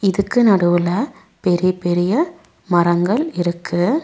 இதுக்கு நடுவுல பெரிய பெரிய மரங்கள் இருக்கு.